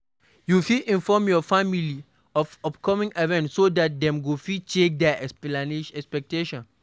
You fit inform your family of upcoming events so dat dem go fit check their expectations